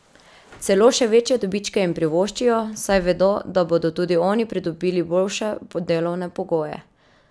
Celo še večje dobičke jim privoščijo, saj vedo, da bodo tudi oni pridobili boljše delovne pogoje!